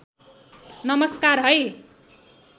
नमस्कार है